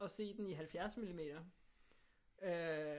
Og se den i 70 millimeter øh